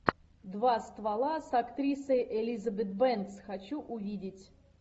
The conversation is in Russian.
два ствола с актрисой элизабет бэнкс хочу увидеть